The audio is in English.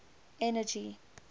energy